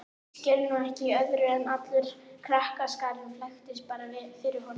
Ég skil nú ekki í öðru en allur þessi krakkaskari flækist bara fyrir honum